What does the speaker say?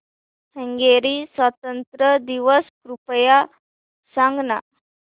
Hungary स्वातंत्र्य दिवस कृपया सांग ना